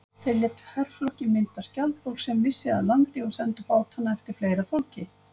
Þeir létu herflokkinn mynda skjaldborg sem vissi að landi og sendu bátana eftir fleira fólki.